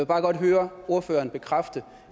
bare godt høre ordføreren bekræfte